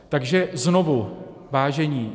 Takže znovu, vážení.